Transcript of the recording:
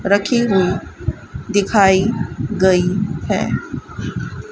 रखी हुई दिखाई गई है।